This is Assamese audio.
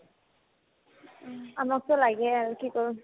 আমাকতো লাগেই আৰু কি কৰো ?